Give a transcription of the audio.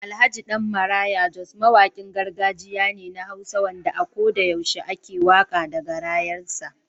Alhj. Dan maraya jos mawakin gargajiya ne na hausa wanda a koda yaushe yake waka da garayan sa.